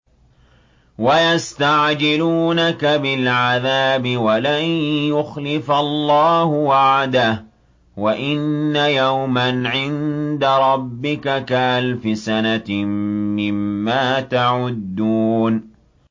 وَيَسْتَعْجِلُونَكَ بِالْعَذَابِ وَلَن يُخْلِفَ اللَّهُ وَعْدَهُ ۚ وَإِنَّ يَوْمًا عِندَ رَبِّكَ كَأَلْفِ سَنَةٍ مِّمَّا تَعُدُّونَ